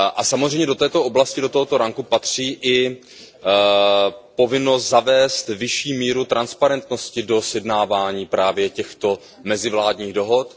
Samozřejmě do této oblasti patří i povinnost zavést vyšší míru transparentnosti do sjednávání právě těchto mezivládních dohod.